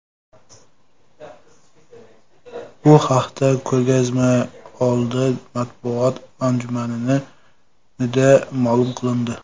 Bu haqda ko‘rgazmaoldi matbuot anjumanida ma’lum qilindi.